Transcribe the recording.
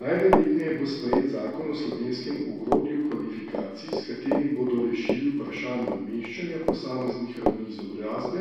Najverjetneje bo sprejet zakon o slovenskem ogrodju kvalifikacij, s katerim bodo rešili vprašanje umeščanja posameznih ravni izobrazbe,